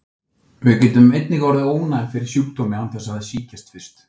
Við getum einnig orðið ónæm fyrir sjúkdómi án þess að sýkjast fyrst.